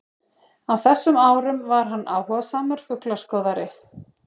Á þessum árum var hann áhugasamur fuglaskoðari.